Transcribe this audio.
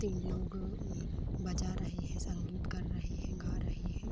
तीन लोग अ बजा रहे हैं संगीत कर रहे हैं गा रहे हैं।